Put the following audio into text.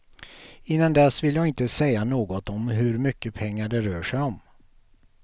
Innan dess vill jag inte säga något om hur mycket pengar det rör sig om.